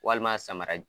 Walima samara